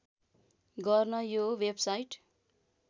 गर्न यो वेबसाइट